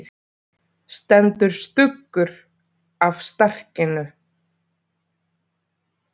Stendur stuggur af skarkinu.